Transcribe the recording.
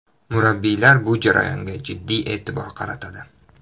Murabbiylar bu jarayonga jiddiy e’tibor qaratadi.